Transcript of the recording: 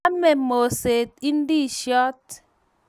Ame moset indisiot